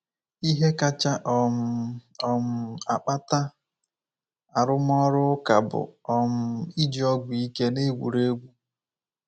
Ihe kacha um um akpata arụmọrụ ụka bụ um ịji ọgwụ ike n'égwùrégwú.